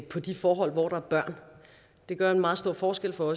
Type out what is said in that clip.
på de forhold hvor der er børn det gør en meget stor forskel for